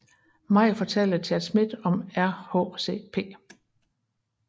Maj fortalte Chad Smith om RHCP